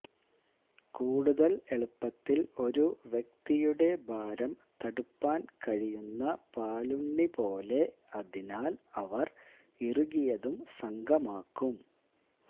കൂടുതൽ എളുപ്പത്തിൽ ഒരു വ്യക്തിയുടെ ഭാരം തടുപ്പാൻ കഴിയുന്ന പാലുണ്ണി പോലെ അതിനാൽ അവർ ഇറുകിയതും സംഘമാക്കും